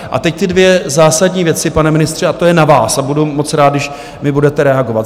A teď ty dvě zásadní věci, pane ministře, a to je na vás a budu moc rád, když mi budete reagovat.